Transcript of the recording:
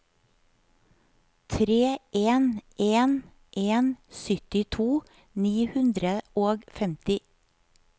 tre en en en syttito ni hundre og femti